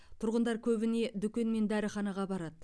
тұрғындар көбіне дүкен мен дәріханаға барады